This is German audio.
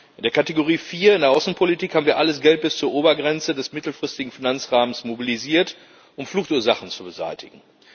In der Kategorie 4, in der Außenpolitik, haben wir alles Geld bis zur Obergrenze des mittelfristigen Finanzrahmens mobilisiert, um Fluchtursachen zu beseitigen.